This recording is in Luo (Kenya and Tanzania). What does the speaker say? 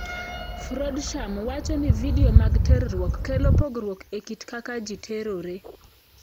Frodsham wacho ni vidio mag terruok kelo pogruok e kit kaka ji terore.